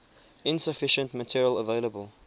insufficient material available